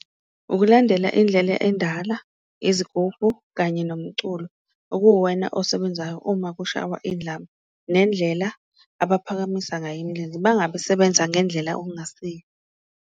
Ukulandela indlela endala, izigubhu kanye nomculo okuwena osebenzayo uma kushawa indlamu, nendlela abaphakamisa ngayo imilenze bangabe sebenza ngendlela okungasiyo.